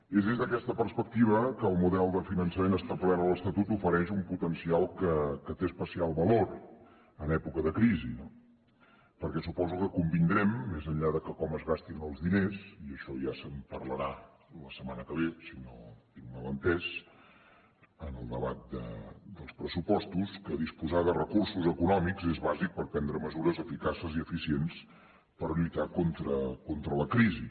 és des d’aquesta perspectiva que el model de finançament establert a l’estatut ofereix un potencial que té especial valor en època de crisi no perquè suposo que convindrem més enllà de com es gastin els diners i ad’ixò ja se’n parlarà la setmana que ve si no ho tinc mal entès en el debat dels pressupostos que disposar de recursos econòmics és bàsic per prendre mesures eficaces i eficients per lluitar contra la crisi